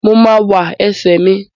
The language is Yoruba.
Mo ma wà ẹsẹ́ mi.